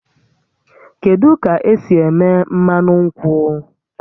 Kedu ka esi eme mmanụ nkwụ?